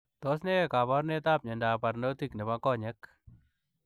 Tos kaparunet ap miondoop parnotiik neboo konyeek ?